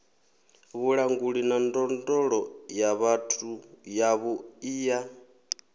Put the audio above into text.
vhulanguli na ndondolo yavhuḓi ya